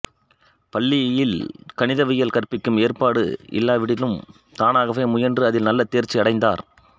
பள்ளியில் கணிதவியல் கற்பிக்கும் ஏற்பாடு இல்லாவிடினும் தானாகவே முயன்று அதில் நல்ல தேர்ச்சி அடைந்தார்